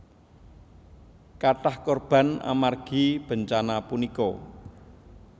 Kathah korban amargi bencana punika